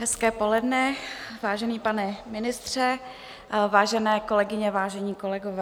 Hezké poledne, vážený pane ministře, vážené kolegyně, vážení kolegové.